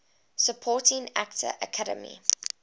supporting actor academy